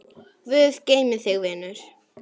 Guð geymi þig, vinur.